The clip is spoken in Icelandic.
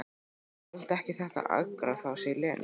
Þoldi ekki þetta argaþras í Lenu.